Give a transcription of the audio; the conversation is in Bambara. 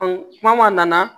kuma ma na